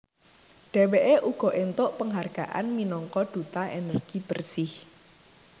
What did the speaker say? Dheweke uga entuk penghargaan minangka Duta Energi Bersih